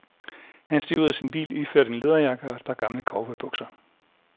Han steg ud af sin bil iført en læderjakke og et par gamle cowboybukser.